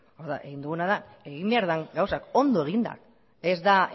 hau da egin duguna da egin behar den gauzak ondo eginda ez da